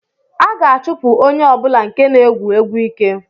A ga-achụpụ onye ọ bụla nke na-egwu egwu ike